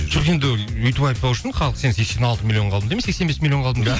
жоқ енді үйтіп айтпау үшін халық сен сексен алты миллионға алдым деме сексен бес миллионға